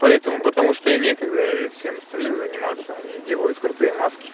поэтому потому что им некогда всем остальным заниматься они делают крутые маски